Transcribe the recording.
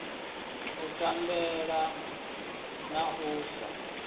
u tambea na u sa